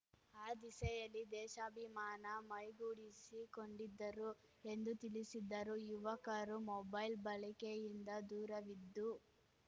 ಆ ದಿಸೆಯಲ್ಲಿ ದೇಶಾಭಿಮಾನ ಮೈಗೂಡಿಸಿ ಕೊಂಡಿದ್ದರು ಎಂದು ತಿಳಿಸಿದ್ದರು ಯುವಕರು ಮೊಬೈಲ್‌ ಬಳಕೆಯಿಂದ ದೂರವಿದ್ದು